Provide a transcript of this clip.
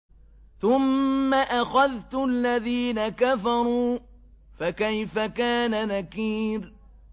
ثُمَّ أَخَذْتُ الَّذِينَ كَفَرُوا ۖ فَكَيْفَ كَانَ نَكِيرِ